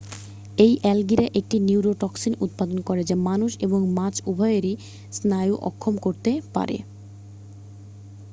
এই অ্যালগিরা একটি নিউরোটক্সিন উৎপাদন করে যা মানুষ এবং মাছ উভইয়েরই স্নায়ু অক্ষম করতে পারে